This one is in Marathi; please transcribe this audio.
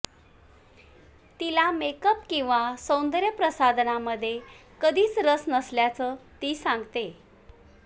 तिला मेकअप किंवा सौंदर्यप्रसाधनांमध्ये कधीच रस नसल्याचं ती सांगते